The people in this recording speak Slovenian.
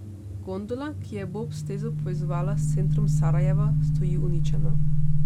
Gondola, ki je bob stezo povezovala s centrom Sarajeva, stoji uničena.